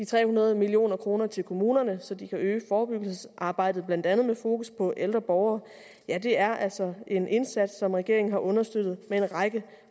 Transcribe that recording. tre hundrede million kroner til kommunerne så de kan øge forebyggelsesarbejdet blandt andet med fokus på ældre borgere ja det er altså en indsats som regeringen har understøttet med en række